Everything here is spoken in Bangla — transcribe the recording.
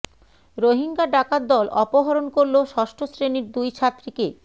রোহিঙ্গা ডাকাত দল অপহরণ করল ষষ্ঠ শ্রেণির দুই ছাত্রীকে